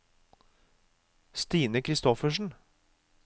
Stina Christoffersen